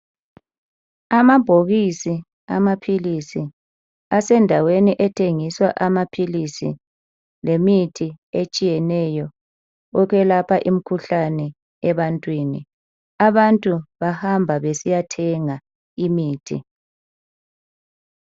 Amabhokisi amaphilisi asendaweni ethengiswa amaphilisi lemithi etshiyeneyo ukwelapha imikhuhlane ebantwini. Abantu bahamba besiyathenga imithi.